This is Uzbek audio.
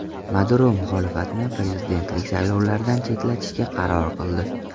Maduro muxolifatni prezidentlik saylovlaridan chetlatishga qaror qildi.